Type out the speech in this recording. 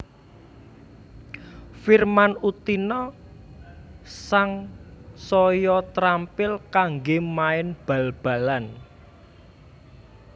Firman Utina sangsaya trampil kanggé main bal balan